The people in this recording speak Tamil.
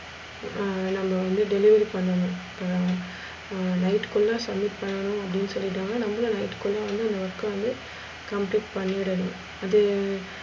ஹம் நம்ம delivery பண்ணனும் ஹம் night க்குள்ள submit பண்ணும் அப்டி சொல்லிடுவாங்க நம்மளும் night க்குள்ள வந்து அந்த work வந்து complete பண்ணிடனும். அதே